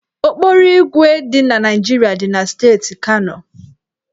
Okporoígwè dị na Naịjirịa dị na steeti Kano.